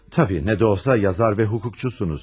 Təbii, nə də olsa, yazar və hukukçusunuz.